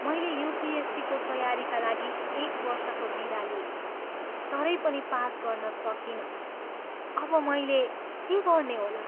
मैले युपिएससीको तयारीका लागि एक वर्षको बिदा लिएँ तरै पनि पास गर्न सकिनँ। अब मैले के गर्ने होला?